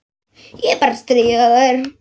Ég er bara að stríða þér.